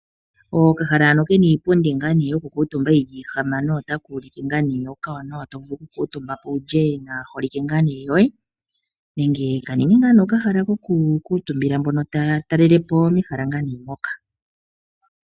Okahala hano ke na iipundi yokukuutumba yi li ihamano otaka ulike ookawanawa to vulu wu kuutumbe po wu lye naaholike yoye nenge ka ninge okahala kokukuutumbila mbono taa talele po mehala moka.